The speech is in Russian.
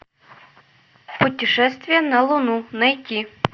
путешествие на луну найти